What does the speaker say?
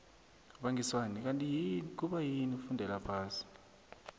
bangiswani kanti kubayini ufundela phasi